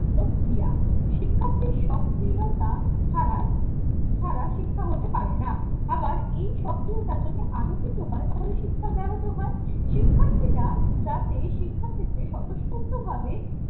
শিক্ষার্থীর সক্রিয়তা ছাড়া ছাড়া শিক্ষা হতে পারে না। আবার এই সক্রিয়তা যদি আপত্তি তো হয় তাহলে শিক্ষার ব্যাহত হয়। শিক্ষার্থীরা যাতে শিক্ষাক্ষেত্রে স্বতঃস্ফূর্তভাবে